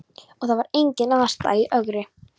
Og það var engin aðstaða í Ögri.